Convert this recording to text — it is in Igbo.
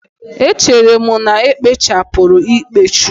Echere m na ekpochapụrụ ikpechu